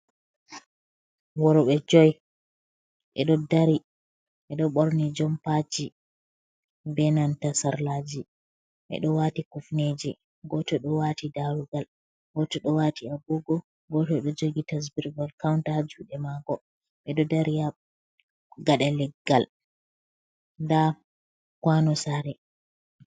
Worbe juy bedo ɓorni jompaci be nanta sarlaji, ɓeɗo wati kufneje goto ɗo wati darugal goto ɗo wati agogo, goto ɗo jogi counter haa juɗe mako, ɓeɗo dari gada leggal da kwano sare.